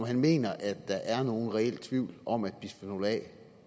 han mener at der er nogen reel tvivl om at bisfenol a